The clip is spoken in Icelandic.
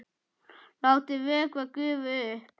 Látið vökva gufa upp.